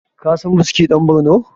kasan buski dan Borno?